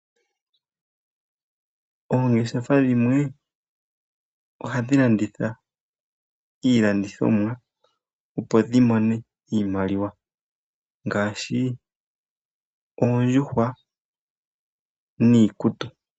Oongeshefa dhimwe, ohadhi landitha iilandithomwa opo dhi mone iimaliwa. Ngaashi oondjuhwa niikutu.